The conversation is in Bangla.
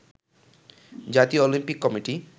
জাতীয় অলিম্পিক কমিটি